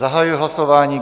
Zahajuji hlasování.